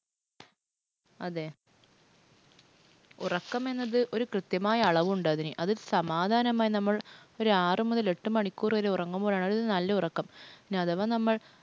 അതെ. ഉറക്കമെന്നത് ഒരു കൃത്യമായ അളവുണ്ടതിന്. അത് സമാധാനമായി നമ്മൾ ഒരു ആറു മുതൽ എട്ട് മണിക്കൂർ വരെ ഉറങ്ങുമ്പോൾ ആണത് നല്ല ഉറക്കം. ഇനി അഥവാ നമ്മൾ